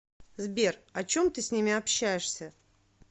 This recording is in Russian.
сбер о чем ты с ними общаешься